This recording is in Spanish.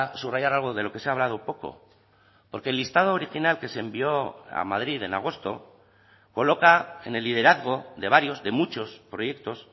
subrayar algo de lo que se ha hablado poco porque el listado original que se envió a madrid en agosto coloca en el liderazgo de varios de muchos proyectos